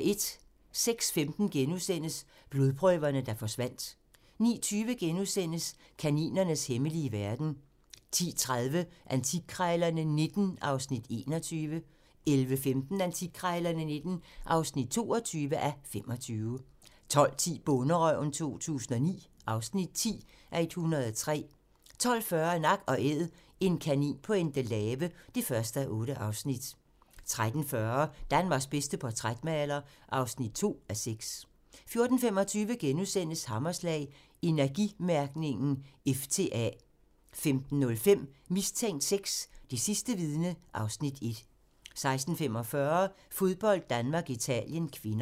06:15: Blodprøverne, der forsvandt * 09:20: Kaninernes hemmelige verden * 10:30: Antikkrejlerne XIX (21:25) 11:15: Antikkrejlerne XIX (22:25) 12:10: Bonderøven 2009 (10:103) 12:40: Nak & Æd - en kanin på Endelave (1:8) 13:40: Danmarks bedste portrætmaler (2:6) 14:25: Hammerslag - Energimærkning F til A * 15:05: Mistænkt VI: Det sidste vidne (Afs. 1) 16:45: Fodbold: Danmark-Italien (k)